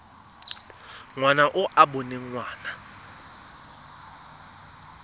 ngwana e e boneng ngwana